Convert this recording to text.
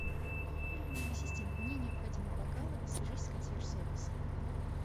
ассистент мне необходимы бокалы свяжись с консьерж сервисом